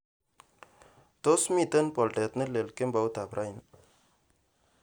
Tos miten boldet nelel kemboutab raini